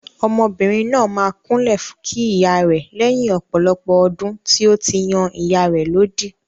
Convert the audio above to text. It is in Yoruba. Ọmọbìnrin náà máa kúnlẹ̀ kí ìyá rẹ̀ lẹ́yìn ọ̀pọ̀lọpọ̀ ọdún tí ó fi yan ìyá rẹ̀ lódì.